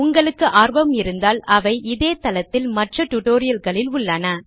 உங்களுக்கு ஆர்வம் இருந்தால் அவை இதே தளத்தில் மற்ற டிடோரியல்களில் உள்ளன